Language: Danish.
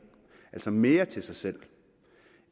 altså mere til sig selv